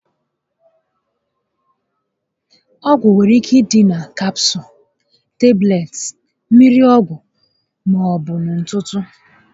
Ọgwụ nwere ike ịdị na Kapsụụls, tablets, mmiri ọgwụ, maọbu na ntụtụ